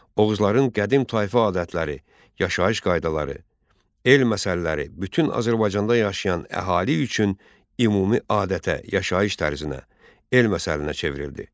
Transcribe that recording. Oğuzların qədim tayfa adətləri, yaşayış qaydaları, el məsəlləri bütün Azərbaycanda yaşayan əhali üçün ümumi adətə, yaşayış tərzinə, el məsəlinə çevrildi.